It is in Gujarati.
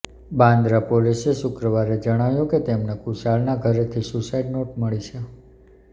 બાંદ્રા પોલિસે શુક્રવારે જણાવ્યુ કે તેમને કુશાલના ઘરેથી સુસાઈડ નોટ મળી છે